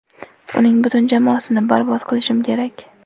Uning butun jamoasini barbod qilishim kerak.